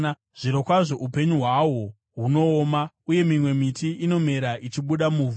Zvirokwazvo upenyu hwawo, hunooma, uye mimwe miti inomera ichibuda muvhu.